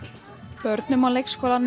börnum á leikskólanum